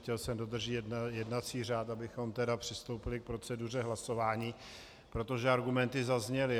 Chtěl jsem dodržet jednací řád, abychom tedy přistoupili k proceduře hlasování, protože argumenty zazněly.